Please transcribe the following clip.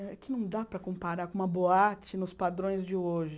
É que não dá para comparar com uma boate nos padrões de hoje.